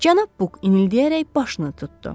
Cənab Buk inildəyərək başını tutdu.